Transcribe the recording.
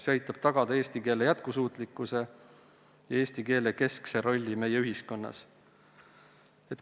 See aitab tagada eesti keele jätkusuutlikkuse ja eesti keele keskse rolli meie ühiskonnas.